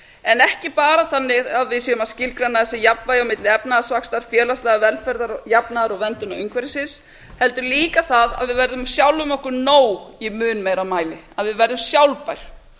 en ekki bara að við séum að skilgreina það sem jafnvægi á milli efnahagsvaxtar félagslegrar velferðar og jafnaðar umhverfisins heldur líka það að við verðum sjálfum okkur nóg í mun meira mæli að við verðum sjálfbær